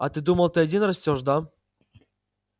а ты думал ты один растёшь да